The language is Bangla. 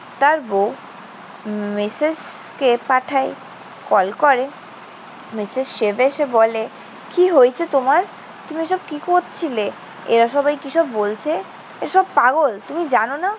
তার বউ মিসেসকে পাঠায়, কল করে। মিসেস শিব এসে বলে, কি হয়েছে তোমার? তুমি এসব কি করছিলে? এরা সবাই কিসব বলছে? এসব পাগল। তুমি জান না?